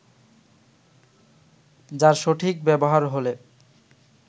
যার সঠিক ব্যবহার হলে